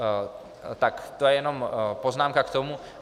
Tak to je jenom poznámka k tomu.